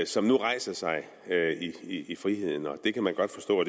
som nu rejser sig i friheden det kan man godt forstå